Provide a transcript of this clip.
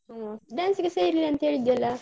ಹ್ಮ್ dance ಗೆ ಸೇರಿಲ್ಲ ಅಂತ ಹೇಳಿದ್ಯಲ್ಲಾ?